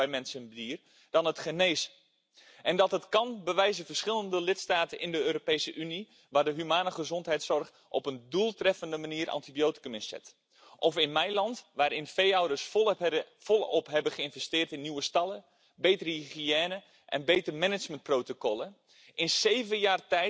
Ich hoffe, dass Sie, Herr Kommissar Andriukaitis, nun Nägel mit Köpfen machen und nicht so agieren wie bei meinem Initiativbericht zur Kaninchenhaltung. Da liegen wir ja immer noch im Clinch. Und nebenbei gesagt Sie wissen selbst, wie viele Antibiotika in diesem Sektor eingesetzt